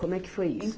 Como é que foi isso?